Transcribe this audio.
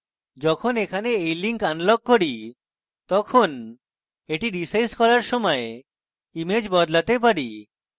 যখন এখানে when link unlock করি তখন এটি রীসাইজ করার সময় image বদলাতে পারি